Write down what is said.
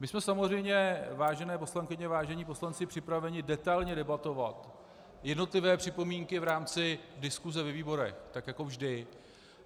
My jsme samozřejmě, vážené poslankyně, vážení poslanci, připraveni detailně debatovat jednotlivé připomínky v rámci diskuse ve výborech, tak jako vždy.